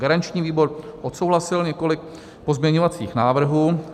Garanční výbor odsouhlasil několik pozměňovacích návrhů.